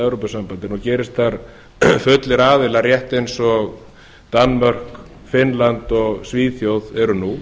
evrópusambandinu og gerist þar fullir aðilar rétt eins og danmörk finnland og svíþjóð eru nú